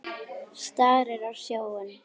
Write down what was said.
Starir á sjóinn.